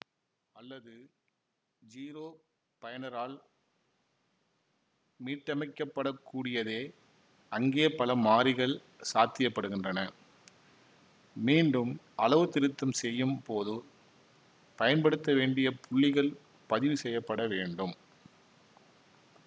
அல்லது ஜீரோ பயனரால் மீட்டமைக்கப்படக்கூடியதேஅங்கே பல மாறிகள் சாத்தியப்படுகின்றன மீண்டும் அளவுத்திருத்தம் செய்யும் போதோ பயன்படுத்த வேண்டிய புள்ளிகள் பதிவு செய்ய பட வேண்டும்